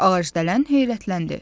Ağacdələn heyrətləndi.